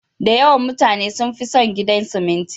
Da yawan mutane sun fi son gidan siminti.